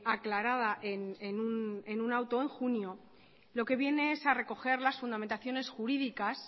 aclarada en un auto en junio lo que viene es a recoger las fundamentaciones jurídicas